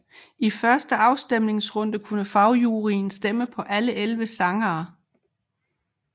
I første afstemningsrunde kunne fagjuryen stemme på alle 11 sange